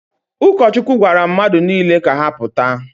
Ụkọchukwu gwara mmadụ niile ka ha pụta